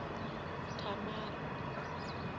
thamara